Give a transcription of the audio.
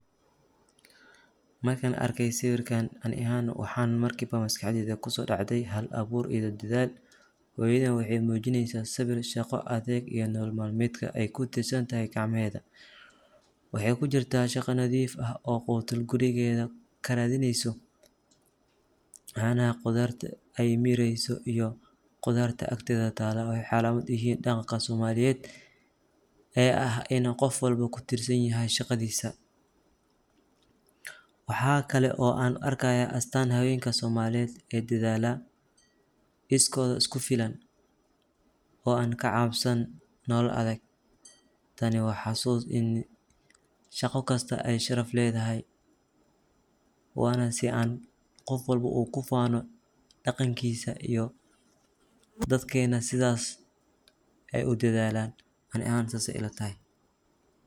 Markan arkey siwirkan ani ahan mxa maskaxdeyda kusodacdey hal abur iyo dadhal, hooyadan waxay mujineysa sabir shaqo adeeg iyo nolol madmedka aay kutirsantahay gacmaheda, waxay kujirta shaqo nadif ah oo qutul gurigeda karadineyso, waxayna aay mireyso qudarta iyo qudarta agteda talo waxay calamad uyihin daqan somaliyed ee ah ini qoofwalbo kutirsanyahay shaqadisa, waxaa kale oo an arkaya astan habenka somaliyed ee dadhala iskoda iskufilan oo aan kacabsan nolol adhag, tani waxay xasusin ani shaqo kista aay sharaf ledahay wanaa sii uu qoofwalbo ogu fano daqankisa iyo dadkenah sidhas ayay udadhalan ani sas ayay ilatahay.